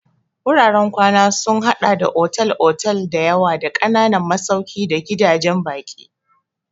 Wuraren kwana sun haɗa da otal-otal da yawa da ƙananan masauki da gidajen baƙi.